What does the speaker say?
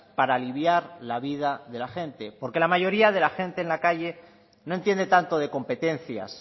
para aliviar la vida de la gente porque la mayoría de la gente en la calle no entiende tanto de competencias